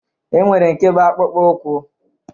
E nwere nke bụ akpụkpọ ụkwụ